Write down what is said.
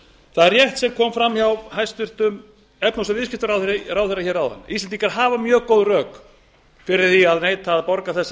það er rétt sem kom fram hjá hæstvirtum efnahags og viðskiptaráðherra áðan íslendingar hafa mjög góð rök fyrir því að neita að borga þessar